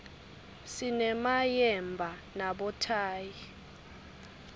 sinemayemba nabothayi